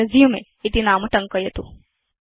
अथresume इति नाम टङ्कयतु